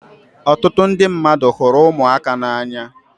Ọtụtụ ndị mmadụ hụrụ ụmụaka n'anya